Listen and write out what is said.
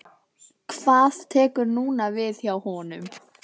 Hvað tekur núna við hjá honum?